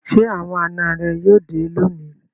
Ṣé àwọn àná rẹ yóò dé lónìí?